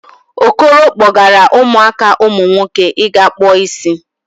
Okoro kpọgara ụmụaka umunwoke ịga kpụ isi